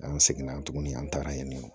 An seginna tuguni an tagara yen nɔ